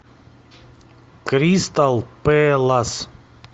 кристал пэлас